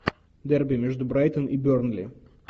дерби между брайтон и бернли